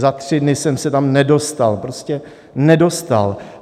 Za tři dny jsem se tam nedostal, prostě nedostal.